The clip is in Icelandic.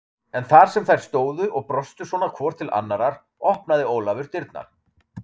En þar sem þær stóðu og brostu svona hvor til annarrar opnaði Ólafur dyrnar.